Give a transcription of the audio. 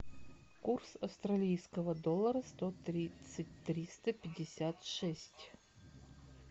курс австралийского доллара сто тридцать триста пятьдесят шесть